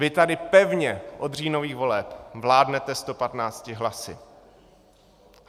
Vy tady pevně od říjnových voleb vládnete 115 hlasy.